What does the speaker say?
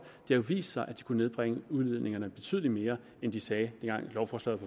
det jo vist sig at de kunne nedbringe udledningerne betydelig mere end de sagde dengang lovforslaget